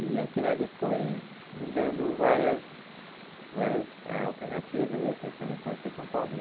E aquilo ali foi me dando várias várias eh alternativas assim para mim conhecer São Paulo.